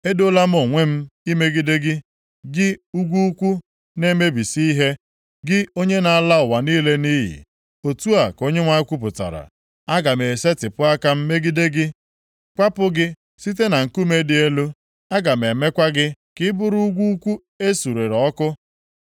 “Edoola m onwe m imegide gị, gị ugwu ukwu na-emebisi ihe, gị onye na-ala ụwa niile nʼiyi.” Otu a ka Onyenwe anyị kwupụtara. “Aga m esetipụ aka m megide gị, kwapụ gị site na nkume dị elu. Aga m emekwa gị ka ị bụrụ ugwu ukwu e suru ọkụ.